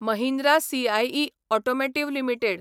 Mahindra CIE automotive limited